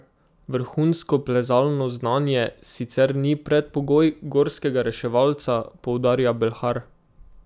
Vrhunsko plezalno znanje sicer ni predpogoj gorskega reševalca, poudarja Belhar.